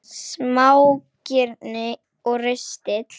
Smágirni og ristill